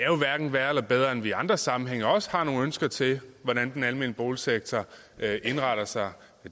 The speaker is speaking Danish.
jo hverken er værre eller bedre end at vi i andre sammenhænge også har nogle ønsker til hvordan den almene boligsektor indretter sig